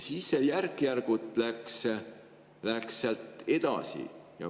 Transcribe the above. Siis läks see järk-järgult sealt edasi.